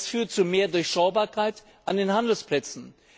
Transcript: Das führt zu mehr Durchschaubarkeit an den Handelsplätzen.